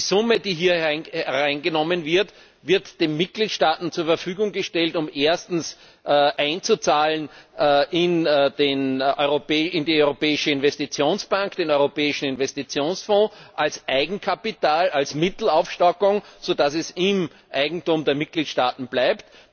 Die Summe, die hier eingenommen wird, wird den Mitgliedstaaten zur Verfügung gestellt, um einzuzahlen in die Europäische Investitionsbank, den Europäischen Investitionsfonds, als Eigenkapital, als Mittelaufstockung, so dass es im Eigentum der Mitgliedstaaten bleibt.